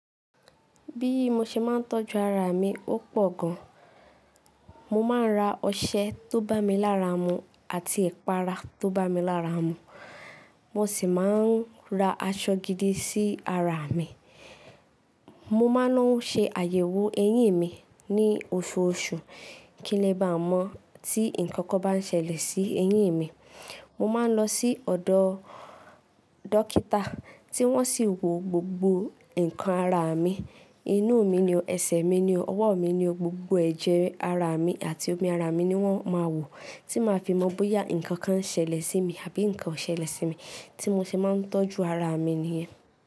Bí mo ṣe máa ń tọ́jú ara mi ó pọ̀ gan. Mo máa ń ra ọṣẹ tó bá mi lára mu àti ẹ̀pàrá tó bá mi lára mu. Mo sì máa ń ra aṣọ gidi sí ara mi. Mo máa ńawo ṣe àyẹ̀wò eyín mi ní oṣooṣù kí n lè bá mọ̀ tí ǹkan kan bá ń ṣẹlẹ̀ sí eyín mi. Mo máa ń lọ sí ọ̀dọ̀ dókítà tí wọ́n sì wo gbogbo nǹkan ara mi. Inú mi ni o, ẹsẹ̀ mi ni o, ọwọ́ mi ni o, gbogbo ẹ̀jẹ̀ ara mi àti omi ara mi ni wọ́n máa wọ̀, tí máa fi mọ̀ bóyá ǹkan kan ṣẹlẹ̀ sí mi àbí nǹkan ò ṣẹlẹ̀ sí mi. Tí mo ṣe máa ń tọ́jú ara mi nìyẹn.